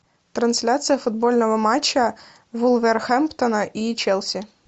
трансляция футбольного матча вулверхэмптона и челси